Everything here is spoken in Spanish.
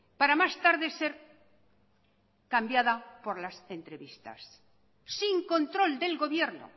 para más tarde ser cambiada por las entrevistas sin control del gobierno